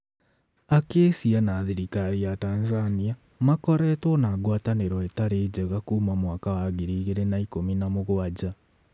Acacia na thirikari ya Tanzania makoretwo na ngwataniro itarĩ njega kuma mwaka wa 2017.